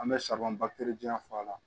An bɛ di yan fɔ a la